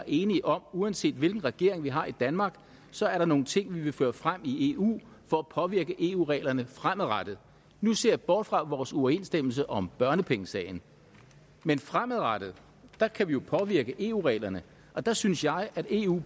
enige om at uanset hvilken regering vi har i danmark så er der nogle ting vi vil føre frem i eu for at påvirke eu reglerne fremadrettet nu ser jeg bort fra vores uoverensstemmelse om børnepengesagen men fremadrettet kan vi jo påvirke eu reglerne og der synes jeg at eu